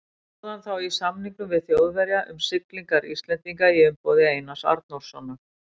Stóð hann þá í samningum við Þjóðverja um siglingar Íslendinga í umboði Einars Arnórssonar.